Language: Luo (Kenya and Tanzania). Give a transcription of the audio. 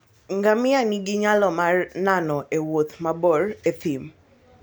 Ngamia nigi nyalo mar nano e wuoth mabor e thim.